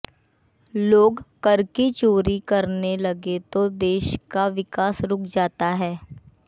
लोग कर की चोरी करने लगे तो देश का विकास रुक जाता है